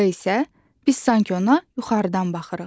Planda isə, biz sanki ona yuxarıdan baxırıq.